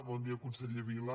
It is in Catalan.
bon dia conseller vila